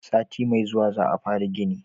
sati mai zuwa za a fara gini